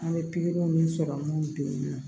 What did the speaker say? An bɛ pikiriw ni sɔrɔmun bɛ yen nɔ